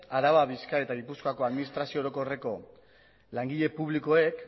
araba bizkaia eta gipuzkoako administrazio orokorreko langile publikoek